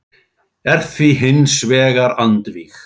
er því hins vegar andvíg.